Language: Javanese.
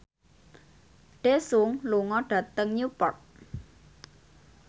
Daesung lunga dhateng Newport